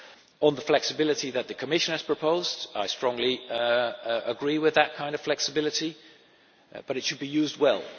On the flexibility that the Commission has proposed I strongly agree with that kind of flexibility, but it should be used